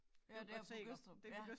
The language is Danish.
Ja det kan jeg godt se